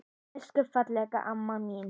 Elsku fallega amma mín.